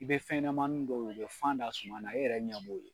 I bɛ fɛn ɲɛmani dɔw ye u bɛ fan da sumana e yɛrɛ ɲɛ b'o ye.